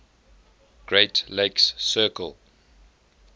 great lakes circle